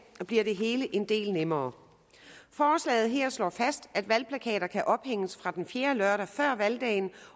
bliver det hele en del nemmere forslaget her slår fast at valgplakater kan ophænges fra den fjerde lørdag før valgdagen